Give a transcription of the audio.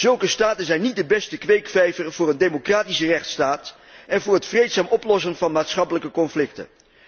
Zulke staten zijn niet de beste kweekvijver voor een democratische rechtsstaat en voor het vreedzaam oplossen van maatschappelijke conflicten.